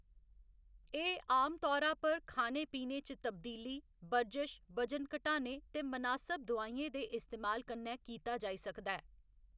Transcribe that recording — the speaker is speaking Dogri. एह्‌‌ आमतौरा पर खाने पीने च तब्दीली, बर्जश, वजन घटाने ते मनासब दोआइयें दे इस्तेमाल कन्नै कीता जाई सकदा ऐ।